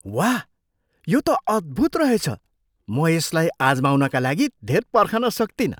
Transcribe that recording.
वाह, यो त अद्भुत रहेछ! म यसलाई आजमाउनका लागि धेर पर्खन सक्तिनँ।